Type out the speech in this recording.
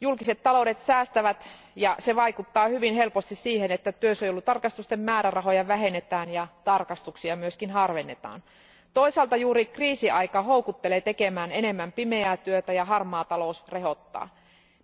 Julkiset taloudet säästävät ja se vaikuttaa hyvin helposti siihen, että työsuojelutarkastusten määrärahoja vähennetään ja tarkastuksia myös harvennetaan. Toisaalta juuri kriisiaika houkuttelee tekemään enemmän pimeää työtä ja harmaa talous rehottaa.